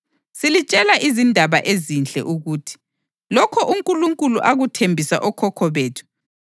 Silitshela izindaba ezinhle ukuthi: Lokho uNkulunkulu akuthembisa okhokho bethu